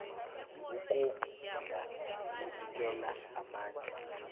ukudla kunikela amandla